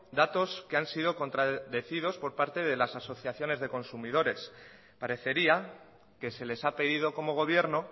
datos que han sido contradecidos por las asociaciones de consumidores parecería que se les ha pedido como gobierno